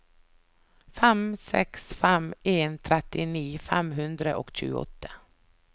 fem seks fem en trettini fem hundre og tjueåtte